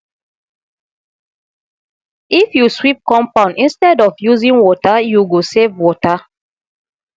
if you sweep compound instead of using water you go save water